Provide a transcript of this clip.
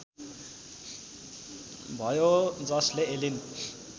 भयो जसले एलिन